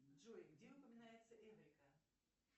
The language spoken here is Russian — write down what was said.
джой где упоминается эврика